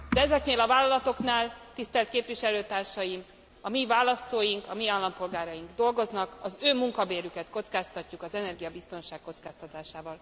Ezeknél a vállalatoknál, tisztelt képviselőtársaim, a mi választóink, a mi állampolgáraink dolgoznak, az ő munkabérüket kockáztatjuk az energiabiztonság kockáztatásával.